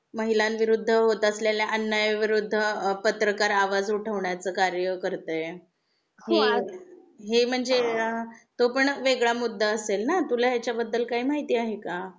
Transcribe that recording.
महिलां विरूद्ध होत असलेल्या अन्याया विरूद्ध पत्रकार आवाज उठवण्या चे कार्य करते, हे म्हणजे अ तो पण वेगळा मुद्दा असेल ना तुला ह्या बद्दल काही माहिती आहे का?